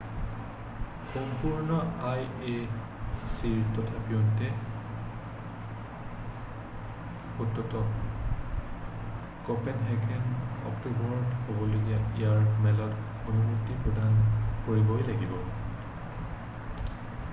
সম্পূৰ্ণ আই অ' চিৰে তথাপিও ভোটটোক কঁপেনহেগেনত অক্টোবৰত হ'বলগীয়া ইয়াৰ মেলত অনুমতি প্ৰদান কৰিবই লাগিব